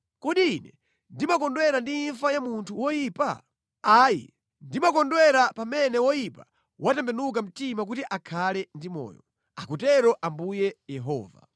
Kodi Ine ndimakondwera ndi imfa ya munthu woyipa? Ayi, ndimakondwera pamene woyipa watembenuka mtima kuti akhale ndi moyo. Akutero Ambuye Yehova.